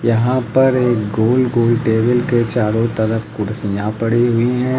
यहां पर एक गोल गोल टेबल के चारों तरफ कुर्सियां पड़ी हुई है।